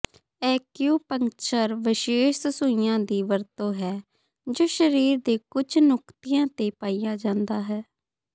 acupuncture ਵਿਸ਼ੇਸ਼ ਸੂਈਆਂ ਦੀ ਵਰਤੋਂ ਹੈ ਜੋ ਸਰੀਰ ਦੇ ਕੁਝ ਨੁਕਤਿਆਂ ਤੇ ਪਾਇਆ ਜਾਂਦਾ ਹੈ